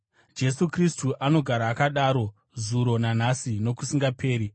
Jesu Kristu anogara akadaro zuro nanhasi nokusingaperi.